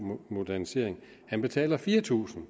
modernisering og han betaler fire tusind